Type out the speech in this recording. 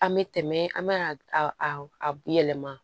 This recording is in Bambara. An bɛ tɛmɛ an bɛ a a yɛlɛma